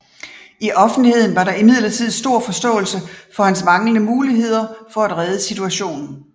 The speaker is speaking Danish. I offentligheden var der imidlertid stor forståelse for hans manglende muligheder for at redde situationen